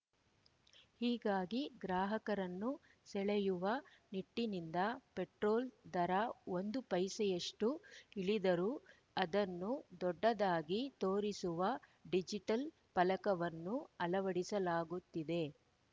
ಹೀಗಾಗಿ ಗ್ರಾಹಕರನ್ನು ಸೆಳೆಯುವ ನಿಟ್ಟಿನಿಂದ ಪೆಟ್ರೋಲ್‌ ದರ ಒಂದು ಪೈಸೆಯಷ್ಟುಇಳಿದರೂ ಅದನ್ನು ದೊಡ್ಡದಾಗಿ ತೋರಿಸುವ ಡಿಜಿಟಲ್‌ ಫಲಕವನ್ನು ಅಳವಡಿಸಲಾಗುತ್ತಿದೆ